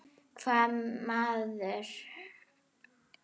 Hvaða maður?